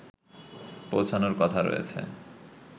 পৌঁছানোর কথা রয়েছে